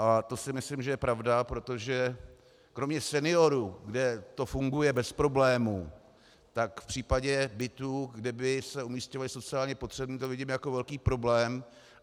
A to si myslím, že je pravda, protože kromě seniorů, kde to funguje bez problémů, tak v případě bytů, kde by se umísťovali sociálně potřební, to vidím jako velký problém.